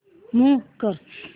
move कर